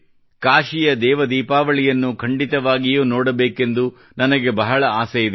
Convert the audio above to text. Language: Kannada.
ಕಾಶಿ ದೇವ ದೀಪಾವಳಿಯನ್ನು ಖಂಡಿತವಾಗಿಯೂ ನೋಡಬೇಕೆಂದು ನನಗೆ ಬಹಳ ಆಸೆಯಿದೆ